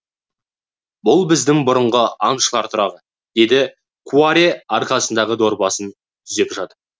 бұл біздің бұрынғы аңшылар тұрағы деді кураре арқасындағы дорбасын түзеп жатып